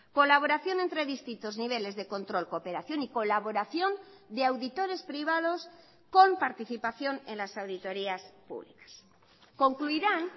colaboración entre distintos niveles de control cooperación y colaboración de auditores privados con participación en las auditorías públicas concluirán